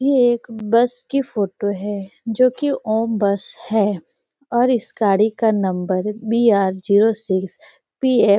यह एक बस की फोटो है जोकि ओम बस है और इस गाड़ी का number B R zero six P F --